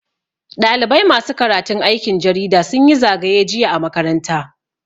Ɗalibai masu karatun aikin jarida sun yi zagaye jiya a makaranta.